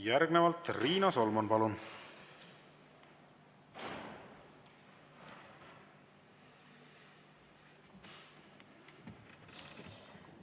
Järgnevalt Riina Solman, palun!